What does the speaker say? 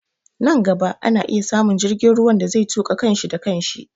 Nan gaba ana iya samun jirgin ruwan da zai tuƙa kan shi da kan shi